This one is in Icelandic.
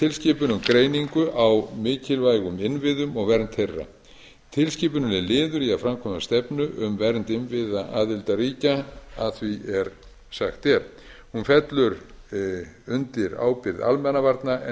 tilskipun um greiningu á mikilvægum innviðum og vernd þeirra tilskipunin er liður í að framkvæma stefnu um vernd innviða aðildarríkja að því er sagt er hún fellur undir ábyrgð almannavarna en